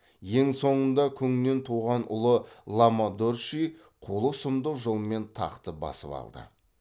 ең соңында күңнен туған ұлы лама дорчжи қулық сұмдық жолмен тақты басып алды